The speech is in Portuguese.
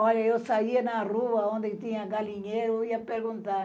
Olha, eu saía na rua onde tinha galinheiro e ia perguntar.